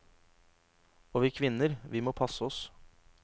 Og vi kvinner, vi må passe oss.